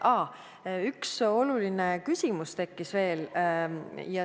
Aa, üks oluline küsimus tekkis veel.